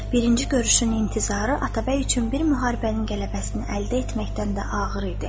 Birinci görüşün intizarı Atabəy üçün bir müharibənin qələbəsini əldə etməkdən də ağır idi.